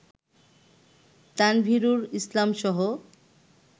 Tanvirul ইসলামসহ